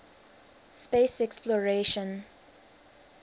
space exploration